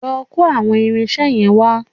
Lọ kó àwọn irinṣẹ́ yẹn wá